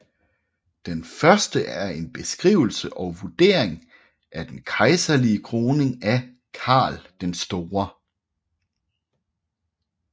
Den første er en beskrivelse og vurdering af den kejserlige kroning af Karl den Store